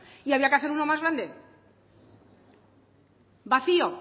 y había que hacer uno más grande vacío